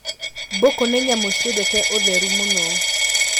Mbũkũ nĩ nyamũ ciendete ũtheru mũno.